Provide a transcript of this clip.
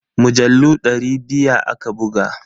Mujallu dari biya aka buga.